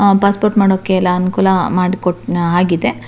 ಆಹ್ಹ್ passport ಮಾಡೋಕೆ ಎಲ್ಲ ಅನುಕೂಲ ಮಾಡಿಕೋಟ್ ಆಗಿದೆ.